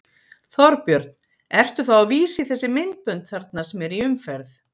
Þorbjörn: Ertu þá að vísa í þessi myndbönd þarna sem eru í umferð?